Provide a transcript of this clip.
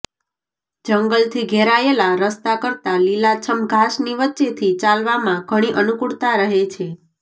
જંગલથી ઘેરાયેલાં રસ્તા કરતાં લીલા છમ ઘાસની વચ્ચેથી ચાલવામાં ઘણી અનુકૂળતા રહે છે